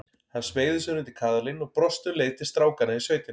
Hún smeygði sér undir kaðalinn og brosti um leið til strákanna í sveitinni.